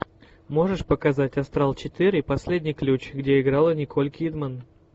можешь показать астрал четыре последний ключ где играла николь кидман